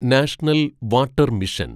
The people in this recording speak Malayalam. national water mission